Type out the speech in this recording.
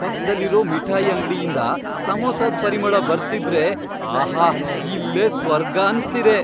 ಪಕ್ದಲ್ಲಿರೋ ಮಿಠಾಯ್ ಅಂಗ್ಡಿಯಿಂದ ಸಮೋಸಾದ್ ಪರಿಮಳ ಬರ್ತಿದ್ರೆ.. ಆಹಾ.. ಇಲ್ಲೇ ಸ್ವರ್ಗ ಅನ್ಸ್ತಿದೆ.